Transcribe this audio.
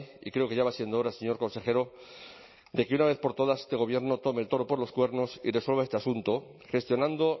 y creo que ya va siendo hora señor consejero de que una vez por todas este gobierno tome el toro por los cuernos y resuelva este asunto gestionando